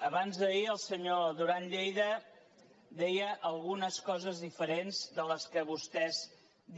abans d’ahir el senyor duran lleida deia algunes coses diferents de les que vostès